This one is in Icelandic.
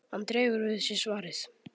Hann dregur við sig svarið.